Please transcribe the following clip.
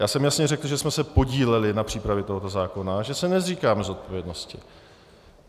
Já jsem jasně řekl, že jsme se podíleli na přípravě tohoto zákona a že se nezříkáme zodpovědnosti.